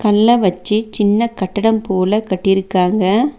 கல்ல வெச்சி சின்ன கட்டடம் போல கட்டிருக்காங்க.